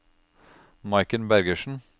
Maiken Bergersen